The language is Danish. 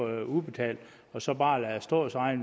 det udbetalt og så bare lade det stå